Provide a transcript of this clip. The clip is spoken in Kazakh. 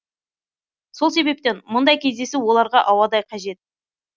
сол себептен мұндай кездесу оларға ауадай қажет